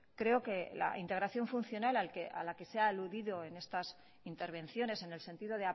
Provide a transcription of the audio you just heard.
creo que la integración funcional a la que se ha aludido en estas intervenciones en el sentido